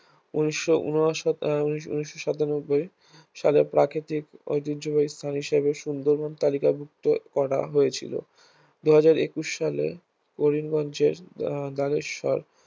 ঊনিশ ঊনসত্তর ঊনিশ সাতানব্বই সালে প্রাকৃতিক ঐতিহ্যবাহী স্থান হিসাবে সুন্দরবন তালিকাভুক্ত করা হয়েছিল দুই হাজার একুশ সালে করিমগঞ্জের আহ নাগেশ্বর